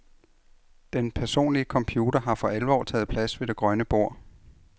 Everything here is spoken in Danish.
Den personlige computer har for alvor taget plads ved det grønne bord.